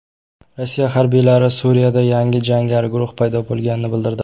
Rossiya harbiylari Suriyada yangi jangari guruh paydo bo‘lganini bildirdi.